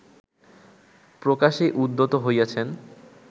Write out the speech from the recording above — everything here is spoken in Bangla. প্রকাশে উদ্যত হইয়াছেন